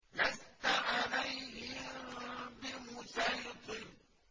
لَّسْتَ عَلَيْهِم بِمُصَيْطِرٍ